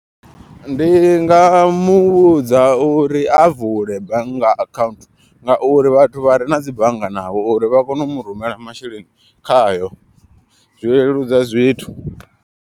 Ndi nga muvhudza uri a vule bannga account. Ngauri vhathu vha re na dzi bannga navho uri vha kone u mu rumela masheleni khayo, zwi leludza zwithu.